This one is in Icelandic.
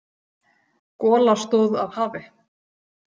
Gola stóð af hafi.